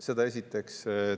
Seda esiteks.